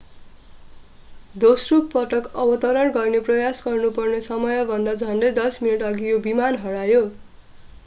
दोस्रो पटक अवतरण गर्ने प्रयास गर्नुपर्ने समयभन्दा झन्डै दश मिनेटअघि यो विमान हरायो